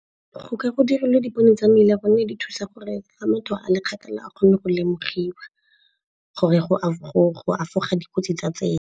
Go ka go dirilwe dipone tsa mmila gonne di thusa gore fa motho a le kgakala a kgone go lemogiwa gore go efoga dikotsi tsa tsela.